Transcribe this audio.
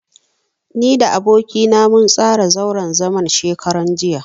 Ni da aboki na mun tsara zauren zaman shekaran jiya.